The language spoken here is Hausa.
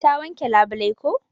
Ta wanke labulai ko.